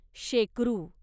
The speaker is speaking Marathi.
शेकरू